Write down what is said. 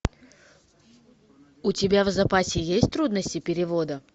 у тебя в запасе есть трудности перевода